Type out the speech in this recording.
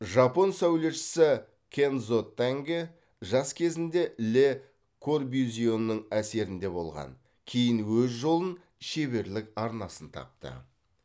жапон сәулетшісі кэндзо тангэ жас кезінде ле корбюзьенің әсерінде болған кейін өз жолын шеберлік арнасын тапты